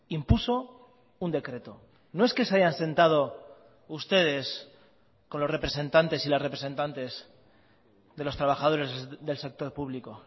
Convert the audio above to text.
impuso un decreto no es que se hayan sentado ustedes con los representantes y las representantes de los trabajadores del sector público